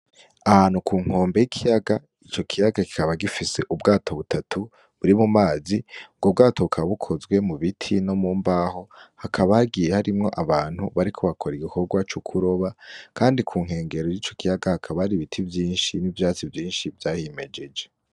Ahantu kunkombe y'ikiyaga ico kiyaga kikaba gifise ubwato butatu buri mumazi ubwo bwato bukaba bukozwe mubiti no mumbaho hakaba hagiye harimwo abantu bariko bakora igikorwa cokuroba kandi kunyengero yico kiyaga hakaba hari ibiti vyinshi nivyatsi vyinshi vyahimejeje.